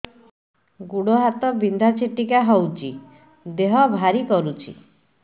ଗୁଡ଼ ହାତ ବିନ୍ଧା ଛିଟିକା ହଉଚି ଦେହ ଭାରି କରୁଚି